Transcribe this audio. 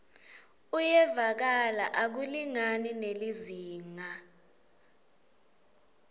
uyevakala akulingani nelizingaa